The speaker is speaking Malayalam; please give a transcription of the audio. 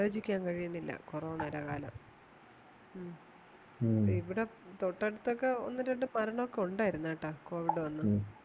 ആലോചിക്കാൻ കഴിയുന്നില്ല കൊറോണയുടെ കാലം മ്മ ഇവിടെ തൊട്ടടുത്ത് ഒന്ന് രണ്ട് മരണമൊക്കെ ഉണ്ടായിരുന്നു കേട്ടോ covid വന്നു